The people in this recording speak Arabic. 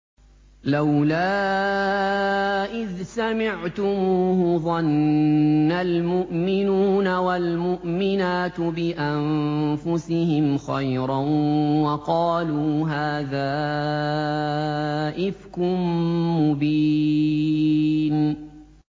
لَّوْلَا إِذْ سَمِعْتُمُوهُ ظَنَّ الْمُؤْمِنُونَ وَالْمُؤْمِنَاتُ بِأَنفُسِهِمْ خَيْرًا وَقَالُوا هَٰذَا إِفْكٌ مُّبِينٌ